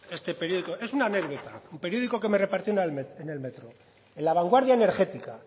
este periódico es una anécdota un periódico que me repartieron en el metro en la vanguardia energética